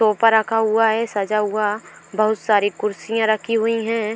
टोपा रखा हुआ है सजा हुआ बहुत सारी कुर्सियां रखी हुई हैं।